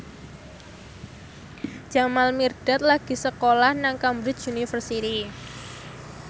Jamal Mirdad lagi sekolah nang Cambridge University